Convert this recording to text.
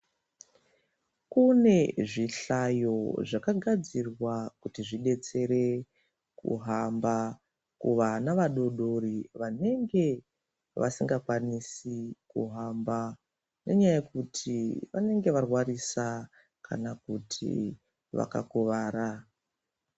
Kune zvihlayo zvakagadzirwa kuti zvibetsere kuhamba. Kuvana vadodori vanenge vasingakwanisi kuhamba. Nenyaya yekuti vanenge varwarisa kana kuti vakakuvara.